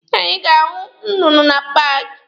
Anyị ga-ahụ nnụnụ na paaki.